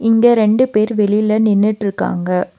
இங்க ரெண்டு பேரு வெளியில நின்னுட்ருக்காங்க.